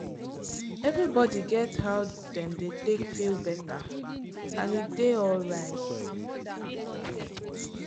everybody get how dem dey take feel better and e dey alright.